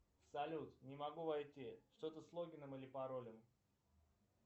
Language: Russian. салют не могу войти что то с логином и паролем